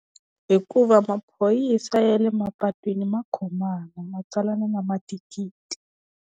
Hikuva maphorisa ya le mapatwini ma khomana ma tsalana na mathikithi.